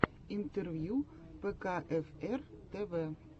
интервью пэкаэфэр тэвэ